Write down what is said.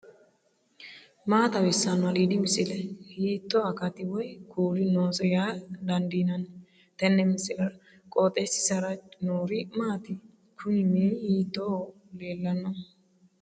maa xawissanno aliidi misile ? hiitto akati woy kuuli noose yaa dandiinanni tenne misilera? qooxeessisera noori maati ? kuni mini hiitooho lellannohu